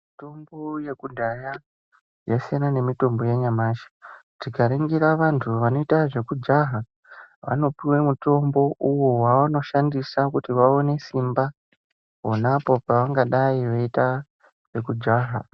Mitombo yekudhaya yasiyana nemitombo yanyamashi. Tikaringira vantu vanoita zvekujaha vanopuwa mutombo uwo wavanoshandisa kuti vawane simba pona apo pavangadayi veiita zvekujaha.